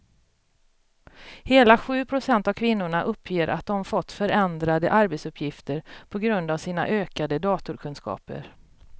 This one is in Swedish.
Hela sju procent av kvinnorna uppger att de fått förändrade arbetsuppgifter på grund av sina ökade datorkunskaper.